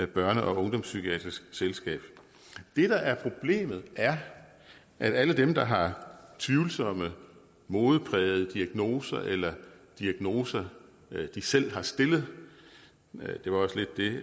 børne og ungdomspsykiatrisk selskab det der er problemet er at alle dem der har tvivlsomme modeprægede diagnoser eller diagnoser de selv har stillet det var også lidt